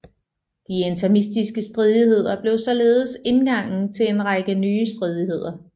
De Interimistiske stridigheder blev således indgangen til en række nye stridigheder